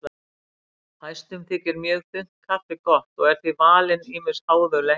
Fæstum þykir mjög þunnt kaffi gott og eru því valin ýmis háðuleg heiti.